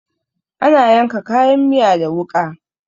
Ana yanka kayan miya da wuƙa.